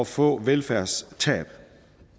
få et velfærdstab